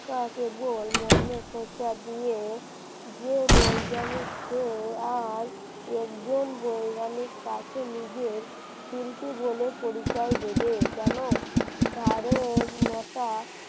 কাজ বল মনে খোঁচা দিয়ে যে বৈজ্ঞানিক যে আজ একজন বৈজ্ঞানিক কাছে নিজের শিল্পী বলে পরিচয় দেবে কেন? কারণ ওটা